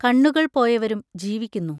കണ്ണുകൾ പോയവരും ജീവിക്കുന്നു.